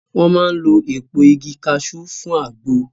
Wọ́n máa ń lo èpo igi kaṣú fún àgbo